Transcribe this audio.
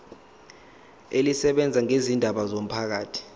elisebenza ngezindaba zomphakathi